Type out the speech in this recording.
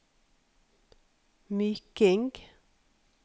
Myking